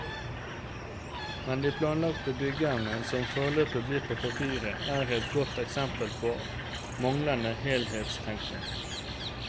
Men de planlagte byggene, som foreløpig blir på papiret, er et godt eksempel på manglende helhetstenkning.